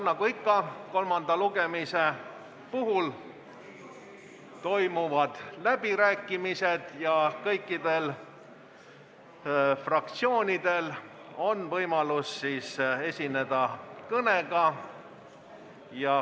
Nagu ikka toimuvad kolmanda lugemise puhul läbirääkimised ja kõikidel fraktsioonidel on võimalus esineda kõnega.